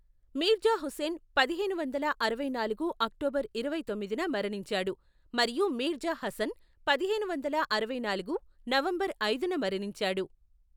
మీర్జా హుస్సేన్ పదిహేను వందల అరవై నాలుగు అక్టోబర్ ఇరవై తొమ్మిదిన మరణించాడు మరియు మీర్జా హసన్ పదిహేను వందల అరవై నాలుగు నవంబర్ ఐదున మరణించాడు.